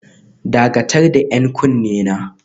Dakatar da 'yan kunne na